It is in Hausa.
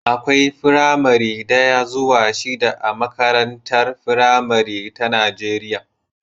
Akwai firamare daya zuwa shida a makarantar firamare ta Najeriya